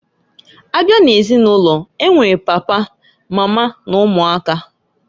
Abịa n'ezinulo, e nwere papa, mama n'ụmụaka.